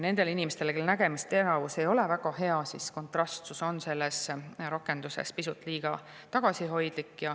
Nende inimeste jaoks, kelle nägemisteravus ei ole väga hea, on kontrastsus selles rakenduses pisut liiga tagasihoidlik.